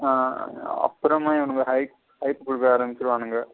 அப்புறமா இவனுங்க hike குடுக்க ஆரம்பிசிருவனுங்க.